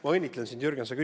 Ma õnnitlen sind, Jürgen!